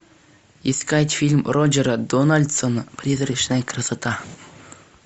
искать фильм роджера дональдсона призрачная красота